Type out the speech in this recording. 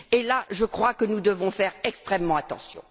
Et là, je crois que nous devons faire extrêmement attention.